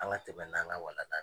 An ka tɛmɛ n' an ka walanda ye.